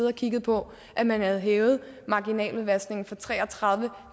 og kigget på at man havde hævet marginaludvaskningen fra tre og tredive